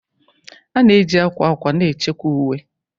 A na-eji akwa akwa na-echekwa uwe